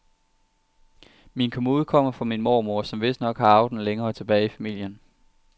Min kommode kommer fra min mormor, som vistnok har arvet den længere tilbage i familien.